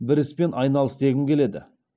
бір іспен айналыс дегім келеді